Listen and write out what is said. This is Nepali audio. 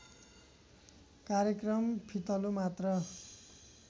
कार्यक्रम फितलो मात्र